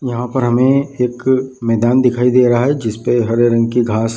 यहाँ पर हमे एक मैदान दिखाई दे रहा है जिसपे हरे रंग का घास --